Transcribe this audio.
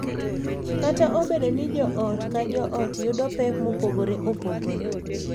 Kata obedo ni joot ka joot yudo pek mopogore opogore,